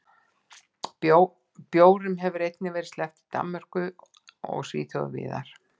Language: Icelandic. Bjórum hefur einnig verið sleppt í Danmörku og Svíþjóð og víðar.